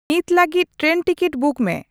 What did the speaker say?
ᱱᱤᱛ ᱞᱟᱹᱜᱤᱫ train ticket book ᱢᱮ